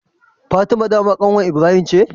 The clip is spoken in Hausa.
Fatima dama kanwar Ibrahim ce?